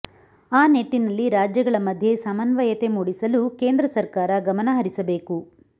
ಆ ನಿಟ್ಟಿನಲ್ಲಿ ರಾಜ್ಯಗಳ ಮಧ್ಯೆ ಸಮನ್ವಯತೆ ಮೂಡಿಸಲು ಕೇಂದ್ರ ಸರ್ಕಾರ ಗಮನಹರಿಸಬೇಕು